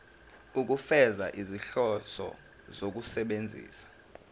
ukufeza izinhloso zokusebenzisa